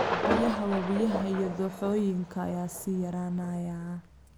Biyaha wabiyada iyo dooxooyinka ayaa sii yaraanaya.